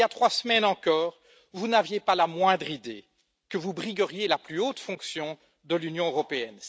Il y a trois semaines encore, vous n'aviez pas la moindre idée que vous brigueriez la plus haute fonction de l'Union européenne.